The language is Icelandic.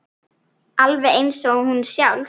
Alveg eins og hún sjálf.